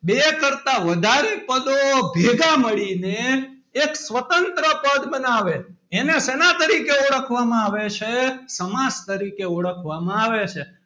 બે કરતાં વધારે પદો ભેગા મળીને એક સ્વતંત્ર પદ બનાવે એને શેના તરીકે ઓળખવામાં આવે છે સમાસ તરીકે ઓળખવામાં આવે છે.